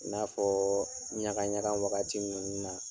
I n'afɔ ɲaga ɲaga wagati minnu na.